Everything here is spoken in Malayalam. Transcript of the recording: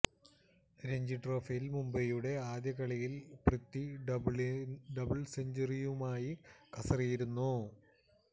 രഞ്ജി ട്രോഫിയില് മുംബൈയുടെ ആദ്യ കളിയില് പൃഥ്വി ഡബിള് സെഞ്ച്വറിയുമായും കസറിയിരുന്നു